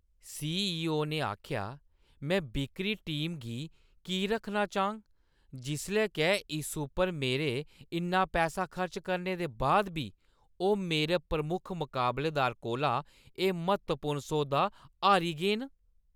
CEO. ने आखेआ, में बिक्करी टीम गी की रक्खना चाह्‌ङ, जिसलै के इस उप्पर मेरे इन्ना पैसा खर्च करने दे बाद बी ओह् मेरे प्रमुख मकाबलेदार कोला एह् म्हत्तवपूर्ण सौदा हारी गे न?